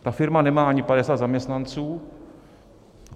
Ta firma nemá ani 50 zaměstnanců.